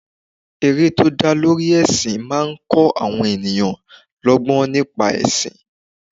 Eré tó dá lórí ẹsin máa ń kó àwọn ènìyàn lọgbọ́n nípa ẹsin.